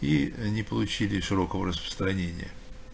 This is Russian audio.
и ээ не получили широкого распространения